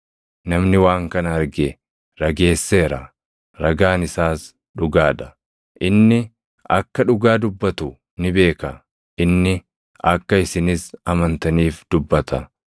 Namni waan kana arge rageesseera; ragaan isaas dhugaa dha. Inni akka dhugaa dubbatu ni beeka; inni akka isinis amantaniif dubbata.